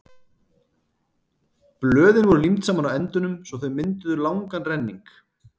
blöðin voru límd saman á endunum svo að þau mynduðu langan renning